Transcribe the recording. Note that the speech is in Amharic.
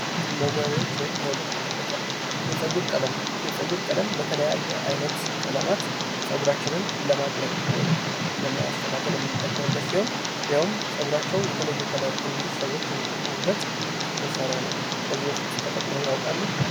መዋቢያዎች ወይም የውበት መጠበቂያ የፀጉር ቀለም የፀጉር ቀለም የተለያየ አይነት ቀለማት ፀጉራችንን ለማቅለም ወይም ለማስተካከል የምንጠቀምበት ሲሆን ፀጉራቸውን የተለየ ከለር እንዲይዝ ሰዎች የሚጠቀሙበት መሳሪያ ነው። ከዚህ በፊት ተጠቅመው ያውቃሉ?